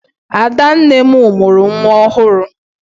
Adanne m mụrụ nwa ọhụrụ.